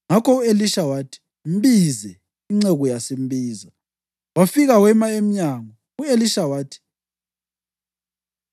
Ngakho u-Elisha wathi, “Mbize.” Inceku yasimbiza, wafika wema emnyango. U-Elisha wathi,